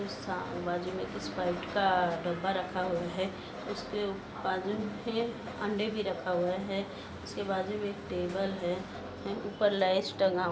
Sprite का बाजु मे एक डिब्बा रखा हैउसके बाजुमे अंडे भी रखा हुआ है उसके बाजुमें टेबल है। ऊपर लैस टंगा--